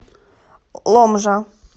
ломжа